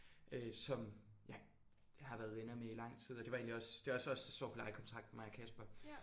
Øh som ja jeg har været venner med i lang tid og det var egentlig også det er også os der står på lejekontrakten mig og Kasper